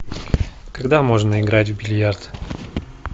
когда можно играть в бильярд